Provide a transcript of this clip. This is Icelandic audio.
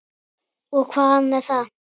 Og hvað með það!